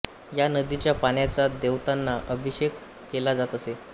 या नदीच्या पाण्याचा देवतांना अभिषेक केला जात असे